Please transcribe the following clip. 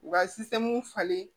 U ka falen